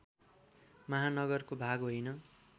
महानगरको भाग होइन